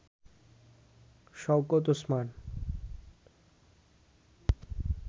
Shawkat Osman